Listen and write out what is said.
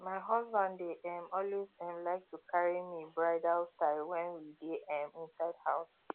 my husband dey um always um like to carry me bridal style wen we dey um inside house